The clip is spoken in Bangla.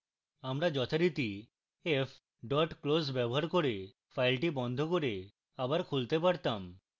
আমরা যথারীতি f close ব্যবহার করে file বন্ধ করে আবার খুলতে পারতাম